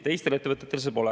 Teistel ettevõtetel seda pole.